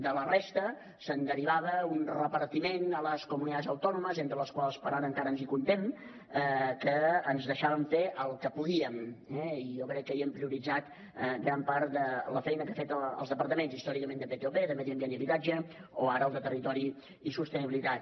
de la resta se’n derivava un repartiment a les comunidades autónomas entre les quals per ara ens hi comptem que ens deixaven fer el que podíem eh i jo crec que hi hem prioritzat gran part de la feina que han fet els departaments històricament de ptop de medi ambient i habitatge o ara el de territori i sostenibilitat